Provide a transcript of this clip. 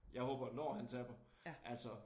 Ja håber når han taber altså